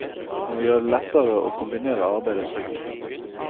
Hun vil gjøre det lettere å kombinere arbeid og trygd.